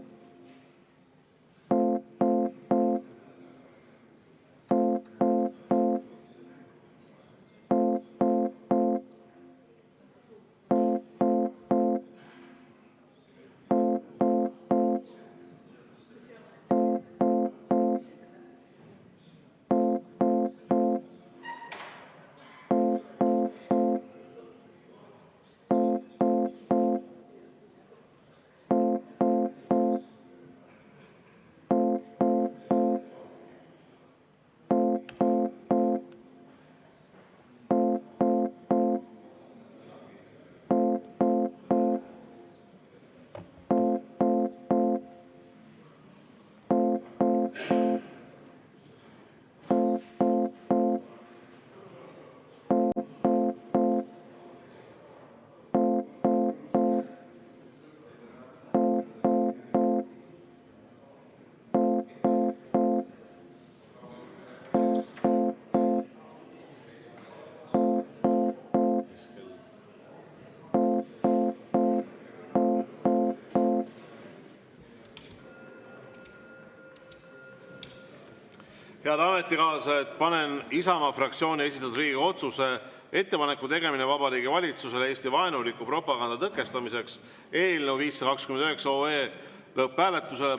Head ametikaaslased, panen Isamaa fraktsiooni esitatud Riigikogu otsuse "Ettepaneku tegemine Vabariigi Valitsusele Eesti-vaenuliku propaganda tõkestamiseks" eelnõu 529 lõpphääletusele.